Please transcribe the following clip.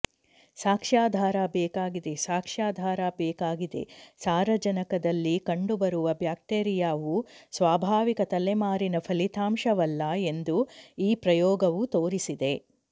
ಸಾಕ್ಷ್ಯಾಧಾರ ಬೇಕಾಗಿದೆ ಸಾಕ್ಷ್ಯಾಧಾರ ಬೇಕಾಗಿದೆ ಸಾರಜನಕದಲ್ಲಿ ಕಂಡುಬರುವ ಬ್ಯಾಕ್ಟೀರಿಯಾವು ಸ್ವಾಭಾವಿಕ ತಲೆಮಾರಿನ ಫಲಿತಾಂಶವಲ್ಲ ಎಂದು ಈ ಪ್ರಯೋಗವು ತೋರಿಸಿದೆ